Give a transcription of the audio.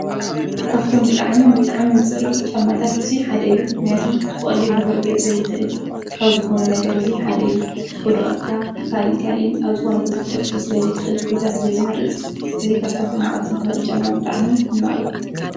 ፋሺን ኣብ ልብሲን ኣቀራርባን ዝረአ ዘመናዊ ስነ-ጥበብ እዩ። ሰብ ባህሉን ስብኣዊነቱን ንምግላጽ ብፋሺን ይጠቕም። ፋሺን ብዘመንን ብሕብረተሰብን ይለዋወጥ።